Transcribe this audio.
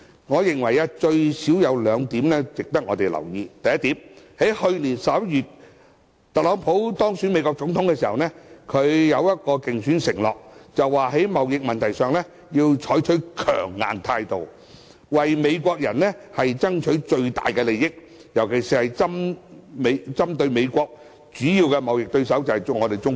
我認為最少有兩點值得留意：第一，去年11月，特朗普當選美國總統時作出一個競選承諾，便是在貿易問題上，要採取強硬態度，為美國人爭取最大利益，尤其針對美國主要貿易對手，即中國。